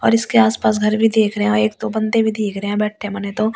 और इसके आसपास घर भी दिख रहे है एक तो बंदे भी दिख रहे हैं बैठे मन तो ।